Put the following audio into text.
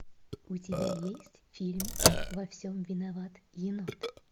у тебя есть фильмик во всем виноват енот